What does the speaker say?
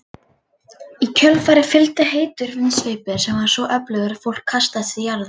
Í kjölfarið fylgdi heitur vindsveipur sem var svo öflugur að fólk kastaðist til jarðar.